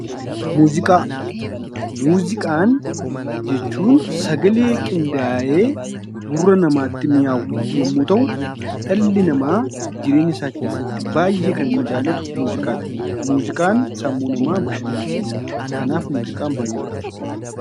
Muuziqaa Muuziqaa jechuun sagalee qindaayee gurra namaatti mi'aawu yommuu ta'u, dhalli namaa jireenya isaa keessatti baay'ee kan inni jaallatu muuziqaa dha. Muuziqaan sammuu namaa bashannansiisa. Kanaaf, muuziqaan baay'ee barbaachisaa dha.